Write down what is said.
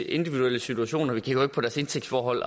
individuelle situation vi kigger jo ikke på deres indtægtsforhold